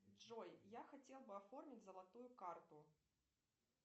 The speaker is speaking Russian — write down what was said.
джой я хотел бы оформить золотую карту